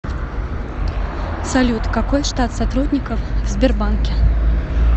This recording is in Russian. салют какой штат сотрудников в сбербанке